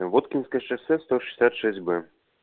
воткинское шоссе сто шестьдесят шесть б